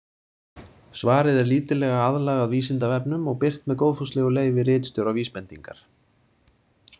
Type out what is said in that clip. Svarið er lítillega aðlagað Vísindavefnum og birt með góðfúslegu leyfi ritstjóra Vísbendingar.